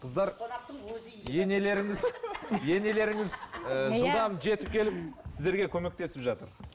қыздар енелеріңіз енелеріңіз ііі жылдам жетіп келіп сіздерге көмектесіп жатыр